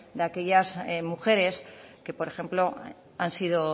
de aquellas mujeres que por ejemplo han sido